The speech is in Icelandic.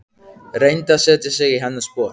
Reyndi að setja sig í hennar spor.